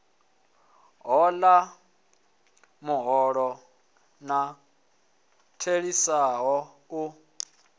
hola muholo u theliswaho u